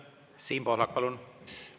Siim Pohlak, palun!